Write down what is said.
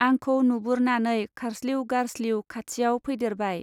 आंखौ नुबुरनानै खारस्लिउ गारस्लिउ खाथियाव फैदैरबाय।